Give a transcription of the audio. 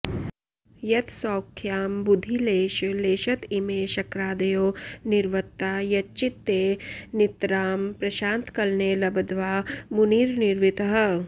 यत्सौख्याम्बुधिलेशलेशत इमे शक्रादयो निर्वृता यच्चित्ते नितरां प्रशान्तकलने लब्ध्वा मुनिर्निर्वृतः